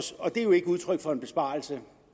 det er jo ikke udtryk for en besparelse